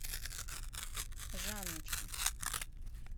жанночке